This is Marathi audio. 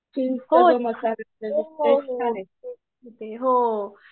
मॅगी मसाला